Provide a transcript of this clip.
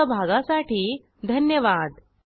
सहभागासाठी धन्यवाद